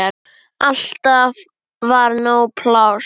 Alltaf var nóg pláss.